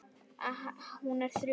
Hún er þrjú.